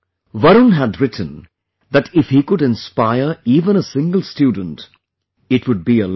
Varun had written that if he could inspire even a single student , it would be a lot